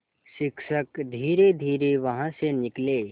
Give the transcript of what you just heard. शिक्षक धीरेधीरे वहाँ से निकले